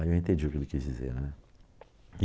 Aí eu entendi o que ele quis dizer, né?